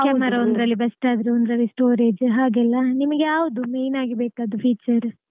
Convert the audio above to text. Camera ಒಂದ್ರಲ್ಲಿ best ಆದ್ರೆ ಒಂದ್ರಲ್ಲಿ storage ಹಾಗೆಲ್ಲ ನಿಮ್ಗೆ ಯಾವ್ದು main ಆಗಿ ಬೇಕಾದ್ದು feature.